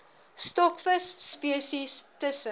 stokvis spesies tussen